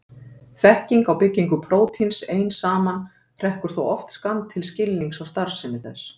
Þekking á byggingu prótíns ein saman hrekkur þó oft skammt til skilnings á starfsemi þess.